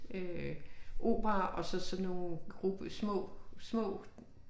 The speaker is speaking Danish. Øh opera og så sådan nogle små små